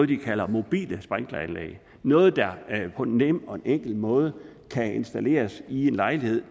de kalder mobile sprinkleranlæg noget der på en nem og enkel måde kan installeres i en lejlighed